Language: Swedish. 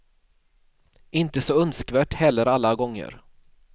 Inte så önskvärt heller alla gånger.